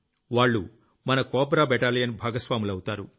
వాళ్లు మన COBRA battalion భాగస్వాములవుతారు